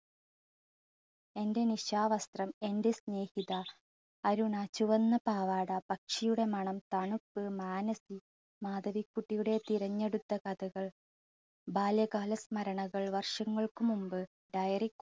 എൻറെ നിശാവസ്ത്രം, എൻറെ സ്നേഹിത, അരുണ, ചുവന്ന പാവാട, പക്ഷിയുടെ മണം, പാണപ്പൂ, മാനസി, മാധവിക്കുട്ടിയുടെ തിരഞ്ഞെടുത്ത കഥകൾ, ബാല്യകാല സ്മരണകൾ, വർഷങ്ങൾക്ക് മുമ്പ്, diary